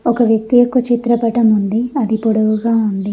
ఒక వ్యక్తి యొక్క చిత్రపటం ఉంది అది పొడవుగా ఉంది.